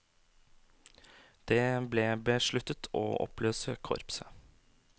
Det ble besluttet å oppløse korpset.